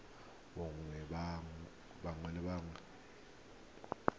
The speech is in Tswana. boagi ba naga e nngwe